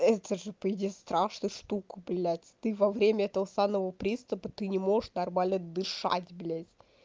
это же по идее страшную штуку блядь ты во время этого санного приступа ты не можешь нормально дышать блять